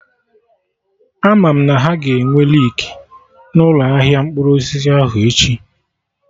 Ama m na ha ga-enwe leeki na ụlọ ahịa mkpụrụ osisi ahụ echi